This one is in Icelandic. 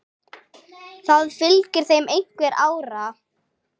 Það fylgir þeim einhver ára.